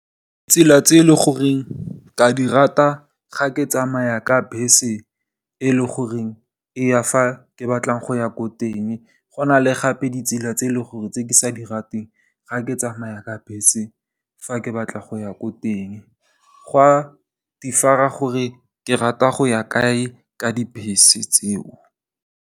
Tsela tse e leng gore ke a di rata ga ke tsamaya ka bese e leng gore e ya fa ke batlang go ya ko teng, go na le gape ditsela tse e leng gore ga ke di rate ga ke tsamaya ka bese, fa ke batla go ya ko teng, go a differ-a gore ke rata go ya kae ka dibese tseo.